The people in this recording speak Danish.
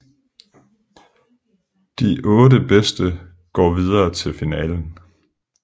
De otte bedste går videre til finalen